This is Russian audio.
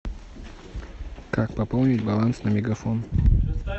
как пополнить баланс на мегафон